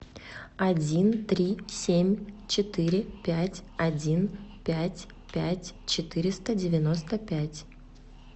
один три семь четыре пять один пять пять четыреста девяносто пять